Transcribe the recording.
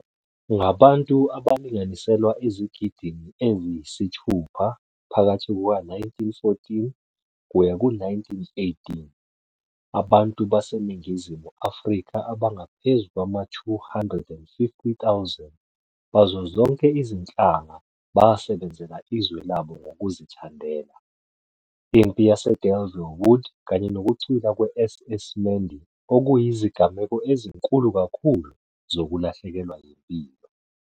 Ngabantu abalinganiselwa ezigidini eziyisithupha, phakathi kuka-1914 - 1918, abantu baseNingizimu Afrika abangaphezu kwama-250,000 bazo zonke izinhlanga basebenzela izwe labo ngokuzithandela. Impi yaseDelville Wood kanye nokucwila kwe- SS Mendi okuyizigameko ezinkulu kakhulu zokulahlekelwa yimpilo.